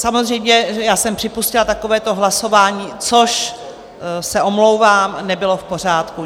Samozřejmě já jsem připustila takovéto hlasování, což se omlouvám, nebylo v pořádku.